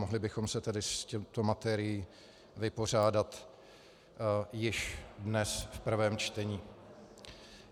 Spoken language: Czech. Mohli bychom se tedy s touto materií vypořádat již dnes v prvém čtení.